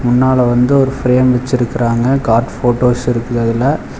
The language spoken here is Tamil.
முன்னால வந்து ஒரு ஃபிரேம் வெச்சிருக்கறாங்க காட் போட்டோஸ் இருக்குது அதுல.